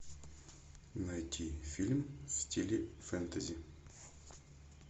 найти фильм в стиле фэнтези